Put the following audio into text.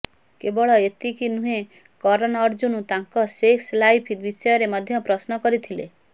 କେବଳ ଏତିକି ନୁହେଁ କରନ୍ ଅର୍ଜୁନ୍ଙ୍କୁ ତାଙ୍କ ସେକ୍ସ ଲାଇଫ୍ ବିଷୟରେ ମଧ୍ୟ ପ୍ରଶ୍ନ କରିଥିଲେ